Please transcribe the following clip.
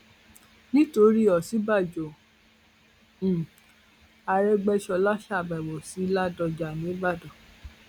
nítorí òsínbàjò um àrégbèsọlá ṣàbẹwò sí ládọjá nìbàdàn